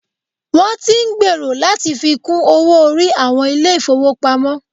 Wọn tí ń gbèrò láti fi kún owó orí àwọn ilé ìfọwọ́pamo.